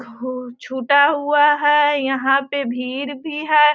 छूटा हुआ है। यहाँ पे भीड़ भी है।